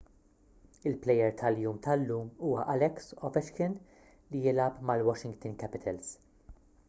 il-plejer tal-jum tal-lum huwa alex ovechkin li jilgħab mal-washington capitals